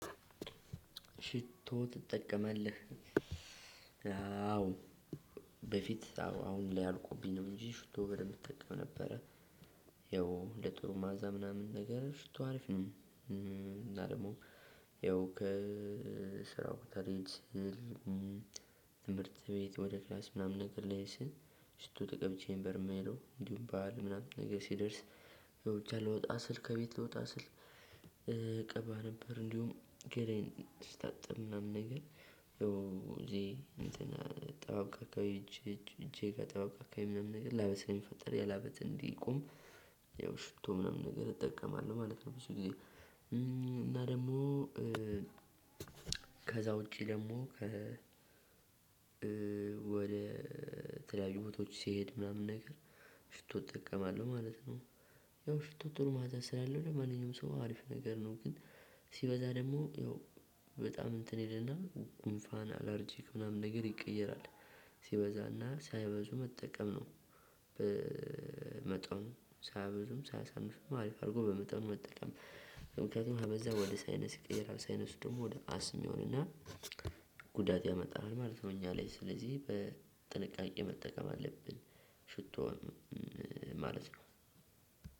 ሽቶ ትጠቀማለህ? አዎ በፊት አሁን ላይ አልቆብኝ ነው። እንጂ ሽቶ በደንብ እጠቀም ነበረ። ያው ለጥሩ መዓዛ ምናምን ነገር ሽቶ አሪፍ ነው። እና ደግሞ ያው ስራ ቦታ ልሄድ ስል። ትምህርት ቤት ወደ ክላስ ምናምን ልሄድ ስል። ሽቶ ተቀብቸ ነበር የምሄደው እንዲሁም በዓል ምናምን ሲደርስ። ብቻ ልወጣ ስል ከቤት ልወጣ ስል እቀባ ነበር። እንዲሁም ገላየን ስታጥብ ምናምን ነገር። እዚህ ጠባብ አካባቢ እጄ እጄ ጠባብ አካባቢ ምናምን ነገር ላበት ስለሚፈጠር ያላበተ እንዲቆም። ያው ሽቶ ምናምን ነገር እጠቀማለሁ ማለት ነው። ብዙ ጊዜ እና ደግሞ። ከዛ ውጪ ደግሞ ከ ወደ ተለያዩ ቦታዎች ሲሄድ ምናምን ነገር። ሽቶ እጠቀማለሁ ማለት ነው። ያው ሽቶት ጥሩ መዓዛ ስላለው ለማንኛውም ሰው አሪፍ ነገር ነው። ግን ሲበዛ ደግሞ ያው በጣም እንትን ይልና ጉንፋን አለርጂክ ነገር ይቀየራል። ሲበዛና ሳይበዙ መጠቀም ነው። በመጠኑ ሳያበዙም ሳያሳንሱምም አሪፍ አድርጎ በመጠኑ መጠቀም። ምክንያቱም ከበዛ ወደ ሳይነስ ቀየረ ሳይነሱ ደግሞ ወደ አስም ይሆንና ጉዳት ያመጣሃል ማለት ነው። እኛ ላይ ስለዚህ በጥንቃቄ መጠቀም አለብን። ሽቶ ማለት ነው።